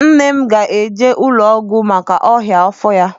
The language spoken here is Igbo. Nne m ga-eje ụlọ ọgwụ maka ọnyá afọ ya.